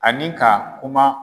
Ani ka kuma.